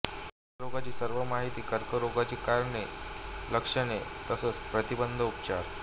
कर्करोगाची सर्व माहिती कर्करोगाची कारणे लक्षणे लस प्रतिबंंध उपचार